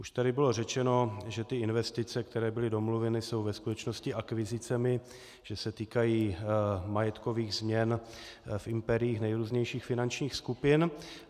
Už tady bylo řečeno, že ty investice, které jsou domluveny, jsou ve skutečnosti akvizicemi, že se týkají majetkových změn v impériích nejrůznějších finančních skupin.